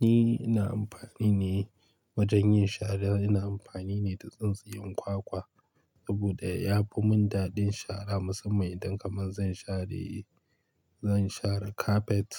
Ni ina amfani ne wajen yin shara ina amfani ne da tsintsiyan kwakwa saboda yafi mun daɗin shara musamman idan kaman zan share, zan share kafet